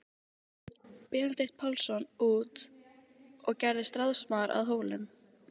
Benedikt Pálsson út og gerðist ráðsmaður að Hólum.